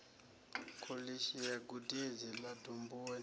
kholishi ya gudedzi ḽa domboni